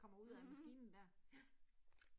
Mh, ja